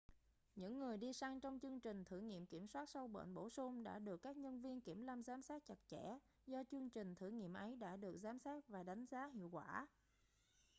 những người đi săn trong chương trình thử nghiệm kiểm soát sâu bệnh bổ sung đã được các nhân viên kiểm lâm giám sát chặt chẽ do chương trình thử nghiệm ấy đã được giám sát và đánh giá hiệu quả